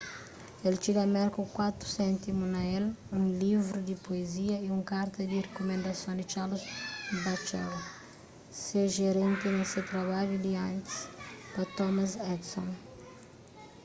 el txiga merka ku 4 séntimu na el un livru di puezia y un karta di rikumendason di charles batchelor se jerénti na se trabadju di antis pa thomas edison